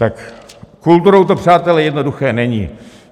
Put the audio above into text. S kulturou to, přátelé, jednoduché není.